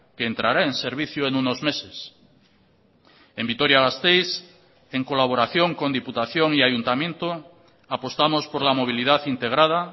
que entrará en servicio en unos meses en vitoria gasteiz en colaboración con diputación y ayuntamiento apostamos por la movilidad integrada